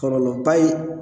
Kɔlɔlɔ ba ye.